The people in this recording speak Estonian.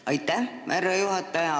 Aitäh, härra juhataja!